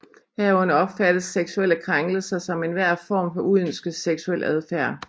Herunder opfattes seksuelle krænkelser som enhver form for uønsket seksuel adfærd